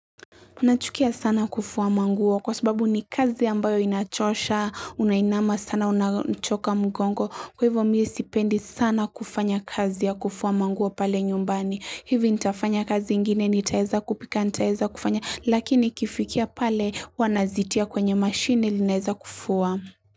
Nachukia sana kufua manguo kwa sababu ni kazi ambayo inachosha, unainama sana, unachoka mgongo. Kwa hivyo mi sipendi sana kufanya kazi ya kufua manguo pale nyumbani. Hivi nitafanya kazi ingine, nitaeza kupika, nitaeza kufanya, lakini ikifikia pale huwa nazitia kwenye mashine ili inaeza kufuwa.